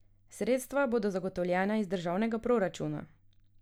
Sredstva bodo zagotovljena iz državnega proračuna.